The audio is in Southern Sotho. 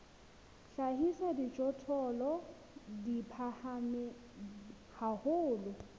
hlahisa dijothollo di phahame haholo